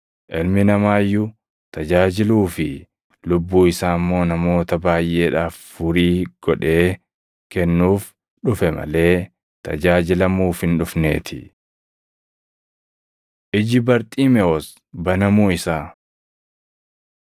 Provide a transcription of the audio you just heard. Ilmi Namaa iyyuu tajaajiluu fi lubbuu isaa immoo namoota baayʼeedhaaf furii godhee kennuuf dhufe malee tajaajilamuuf hin dhufneetii.” Iji Barxiimewos Banamuu Isaa 10:46‑52 kwf – Mat 20:29‑34; Luq 18:35‑43